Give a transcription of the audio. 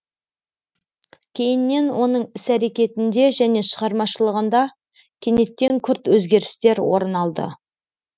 кейіннен оның іс әрекетінде және шығармашылығында кенеттен күрт өзгерістер орын алды